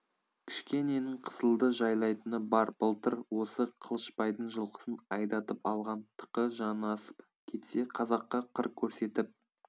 кішкененің қызылды жайлайтыны бар былтыр осы қылышбайдың жылқысын айдатып алған тықы жанасып кетсе қазаққа қыр көрсетіп